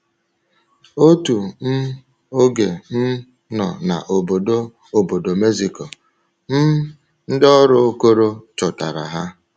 Otu um oge um nọ na Obodo Obodo Mexico, um ndị ọrụ Okoro chọtara ha.